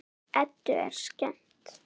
Eddu er skemmt.